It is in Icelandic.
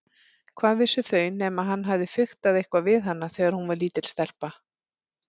Hvað vissu þau nema hann hefði fiktað eitthvað við hana þegar hún var lítil stelpa.